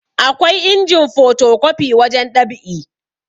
akwai injin potokwafi wajen ɗab'i